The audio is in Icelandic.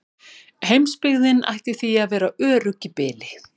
Heimsbyggðin ætti því að vera örugg í bili.